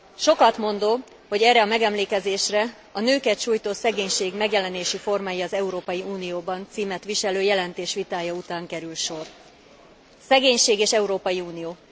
Sokatmondó, hogy erre a megemlékezésre A nőket sújtó szegénység megjelenési formái az Európai Unióban címet viselő jelentés vitája után kerül sor. Szegénység és Európai Unió.